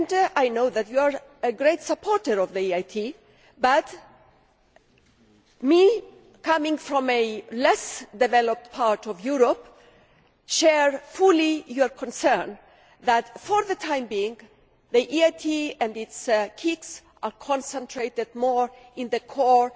I know that you are a great supporter of the EIT, but coming from a less developed part of Europe I fully share your concern that, for the time being, the EIT and its KICs are concentrated more in the core